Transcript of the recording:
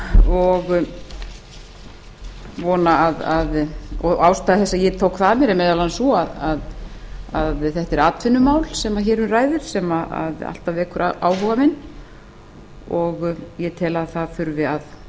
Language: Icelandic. og ástæða þess að ég tók það að mér er sú að þetta er atvinnumál sem hér um ræðir sem alltaf vekur áhuga minn og ég tel að það þurfi að